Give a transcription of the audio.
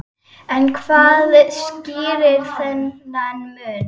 En hvað skýrir þennan mun?